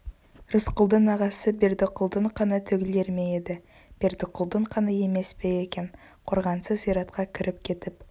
рысқұлдың ағасы бердіқұлдың қаны төгілер ме еді бердіқұлдың қаны емес пе екен қорғансыз зиратқа кіріп кетіп